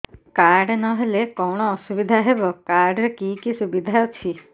card ନହେଲେ କଣ ଅସୁବିଧା ହେବ କାର୍ଡ ରେ କି କି ସୁବିଧା ଅଛି